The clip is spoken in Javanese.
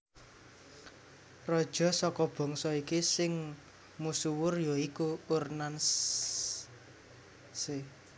Raja saka bangsa iki sing musuwur ya iku Ur Nanshe